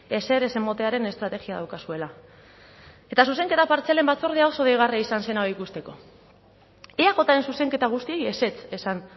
ezer ez ematearen estrategia daukazuela eta zuzenketa partzialen batzordea oso deigarria izan zen hau ikusteko eajren zuzenketa guztiei ezetz esan